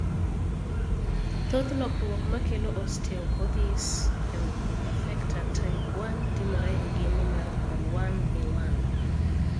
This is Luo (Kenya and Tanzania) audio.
Thoth lokruok ma kelo osteoKodhiis imperfecta type 1 timore e gene mar COL1A1.